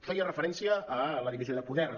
feia referència a la divisió de poders